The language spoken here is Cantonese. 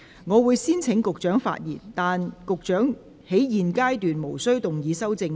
我會先請局長發言，但他在現階段無須動議修正案。